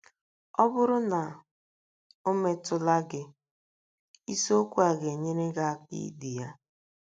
Ọ bụrụ na o metụla gị, isiokwu a ga - enyere gị aka idi ya.